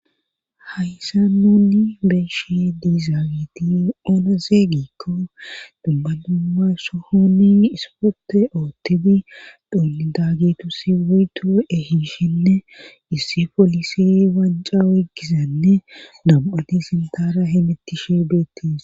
hayssa nuni beeshi diizaawiti oonose giikko dumma dumma sohoni ispote oottidi dhoonni daagetusi woyto ehiishinne issi polisi wanca weygizanne dam7ati sintara himetishe beettiis